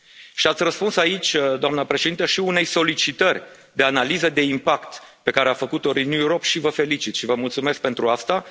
Și ați răspuns aici, doamna Președintă, și unei solicitări de analiză de impact pe care a făcut o Renew Europe și vă felicit, și vă mulțumesc pentru asta.